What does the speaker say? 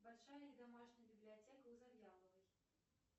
большая ли домашняя библиотека у завьяловой